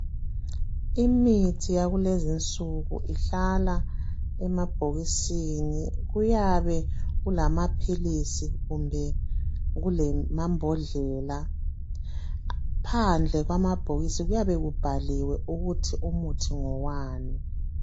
Imithi yakulezi insuku ihlala emabhokisini kuyabe kulamaphilisi kumbe kulamambodlela phandle kwamabhokisi kuyabe kubhaliwe ukuthi umuthi ngowani